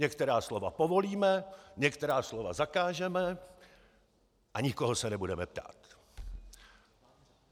Některá slova povolíme, některá slova zakážeme a nikoho se nebudeme ptát!